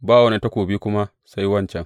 Ba wani takobi kuma sai wancan.